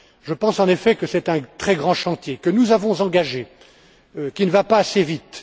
Je pense, en effet, que c'est un très grand chantier que nous avons engagé, qui ne va pas assez vite.